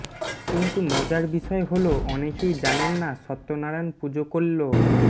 কিন্তু মজার বিষয় হল অনেকেই জানেন না সত্যনারায়ণ পুজো করল